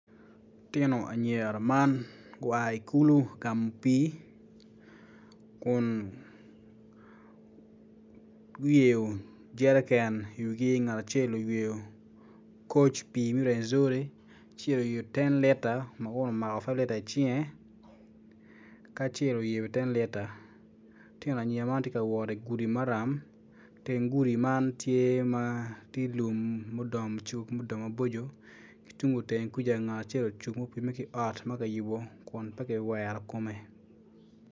Lutino anyira man gua i kulu ka gamo pii kun guyeyo jerike iwigi ngat acel oyeyo koc pii me rwenyjori acel omako ten lita icinge ma kun omako five lita icinge acel oyeyo ten lita lutino anyira man gitye ka wot igudi maram teng gudi man tye ma tye lum ma odongo maboco itenge kuca ngat acel ocung opimme ki ot ma kiyubo ku n pe kiwero kome.